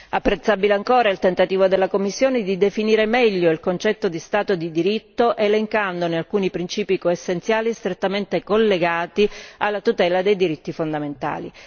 Apprezzabile ancora il tentativo della Commissione di definire meglio il concetto di Stato di diritto elencandone alcuni principi essenziali strettamente collegati alla tutela dei diritti fondamentali.